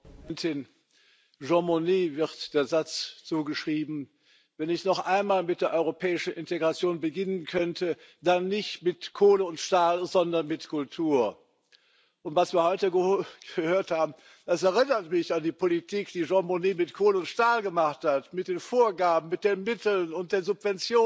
Frau Präsidentin! Jean Monnet wird der Satz zugeschrieben Wenn ich noch einmal mit der europäischen Integration beginnen könnte, dann nicht mit Kohle und Stahl, sondern mit Kultur. Und was wir heute gehört haben, das erinnert mich an die Politik, die Jean Monnet mit Kohle und Stahl gemacht hat, mit den Vorgaben, mit den Mittel und den Subventionen.